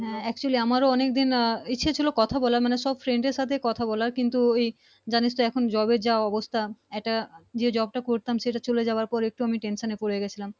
Actually আমার ও অনেক দিন ইচ্ছে ছিলো কথা বলার মানে সব Friend এর সাথে কথা বলার কিন্তু এই জানিস তো এখন Job এর যে অবস্থা একটা যে job টা করতাম চলে যাওয়ার পরে একটু আমি tension এ পরে গিয়েছিলাম